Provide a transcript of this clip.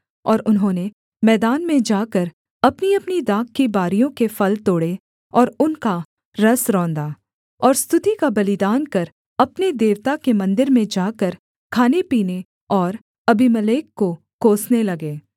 और उन्होंने मैदान में जाकर अपनीअपनी दाख की बारियों के फल तोड़े और उनका रस रौंदा और स्तुति का बलिदान कर अपने देवता के मन्दिर में जाकर खानेपीने और अबीमेलेक को कोसने लगे